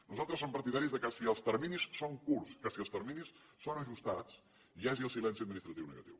nosaltres som partidaris que si els terminis són curts que si els terminis són ajustats hi hagi el silenci administratiu negatiu